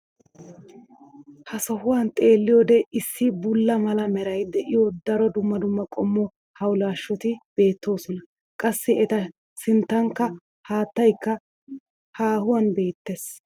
ha sohuwan xeelliyoode issi bulla mala meray de'iyo daro dumma dumma qommo hawulaashshoti beetoosona. qassi eta sinttankka haattaykka haahuwan beetees.